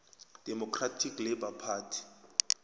democratic labour party